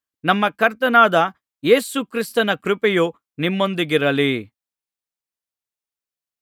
ನಮ್ಮ ಕರ್ತನಾದ ಯೇಸು ಕ್ರಿಸ್ತನ ಕೃಪೆಯು ನಿಮ್ಮೊಂದಿಗಿರಲಿ